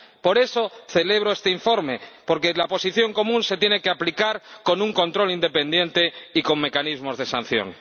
Por eso celebro este informe, porque la Posición Común se tiene que aplicar con un control independiente y con mecanismos de sanción.